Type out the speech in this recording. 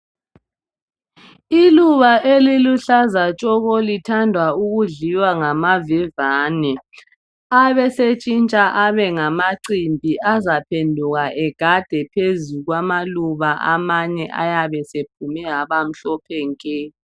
Iluba eliluhlaza tshoko lithandwa ukudliwa ngamavevane abesetshintsha abe ngamacimbi azaphenduka egade phezu kwamaluba amanye ayabe sephume abamhlophe nke.